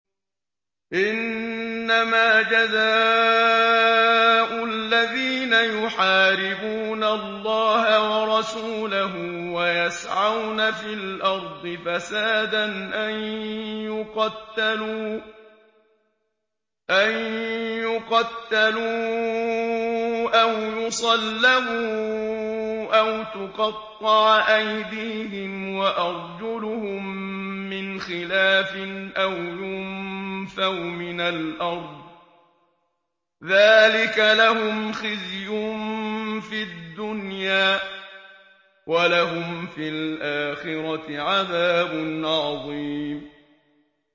إِنَّمَا جَزَاءُ الَّذِينَ يُحَارِبُونَ اللَّهَ وَرَسُولَهُ وَيَسْعَوْنَ فِي الْأَرْضِ فَسَادًا أَن يُقَتَّلُوا أَوْ يُصَلَّبُوا أَوْ تُقَطَّعَ أَيْدِيهِمْ وَأَرْجُلُهُم مِّنْ خِلَافٍ أَوْ يُنفَوْا مِنَ الْأَرْضِ ۚ ذَٰلِكَ لَهُمْ خِزْيٌ فِي الدُّنْيَا ۖ وَلَهُمْ فِي الْآخِرَةِ عَذَابٌ عَظِيمٌ